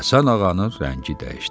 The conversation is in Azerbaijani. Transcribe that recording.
Həsən ağanın rəngi dəyişdi.